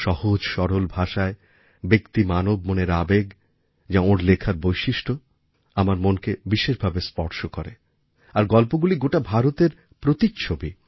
সহজসরল ভাষায় ব্যক্তি মানবমনের আবেগ যা ওঁর লেখার বৈশিষ্ট্য আমার মনকে বিশেষভাবে স্পর্শ করে আর গল্পগুলি গোটা ভারতের প্রতিচ্ছবি